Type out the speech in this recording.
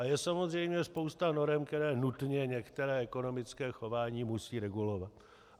A je samozřejmě spousta norem, které nutně některé ekonomické chování musí regulovat.